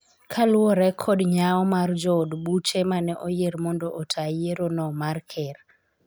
kaluwore kod nyao mar jood buche mane oyier mondo ota yiero no mar ker